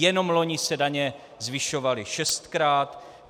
Jenom loni se daně zvyšovaly šestkrát.